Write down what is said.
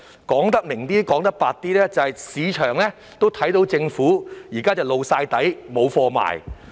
說白一些，市場也看到政府現時露了底，"無貨賣"。